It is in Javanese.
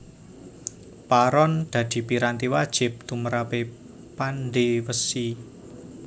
Paron dadi piranti wajib tumrape pandhe wesi